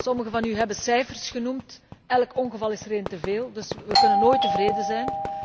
Sommigen van u hebben cijfers genoemd, elk ongeval is er één te veel, dus wij kunnen nooit tevreden zijn.